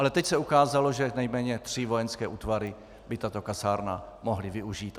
Ale teď se ukázalo, že nejméně tři vojenské útvary by tato kasárna mohly využít.